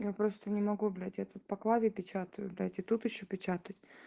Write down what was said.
я просто не могу блять я тут по клаве печатаю блять и тут ещё печатать